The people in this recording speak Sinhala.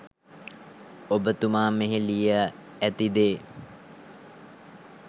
ඔබ තුමා මෙහි ලිය ඇති දේ